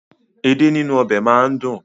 Èdè nínú ọbẹ̀ máa ń dùn.